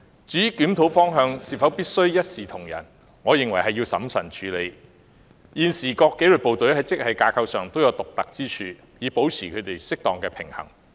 至於檢討方向是否必須一視同仁，我認為須審慎處理，現時各紀律部隊在職系架構上均各有獨特之處，以保持紀律部隊之間的適當平衡。